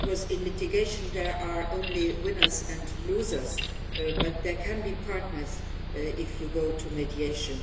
In litigation there are only winners and losers, but there can be partners if you go to mediation.